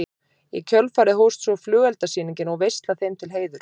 Í kjölfarið hófst svo flugeldasýning og veisla þeim til heiðurs.